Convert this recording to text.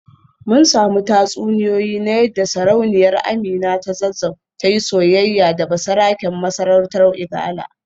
Mun samu tatsuniyoyi na yadda Sarauniyar Amina ta Zazzau ta yi soyayya da basaraken masarautar Igala